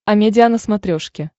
амедиа на смотрешке